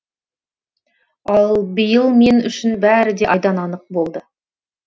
ал биыл мен үшін бәрі де айдан анық болды